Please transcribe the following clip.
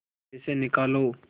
पैसे निकालो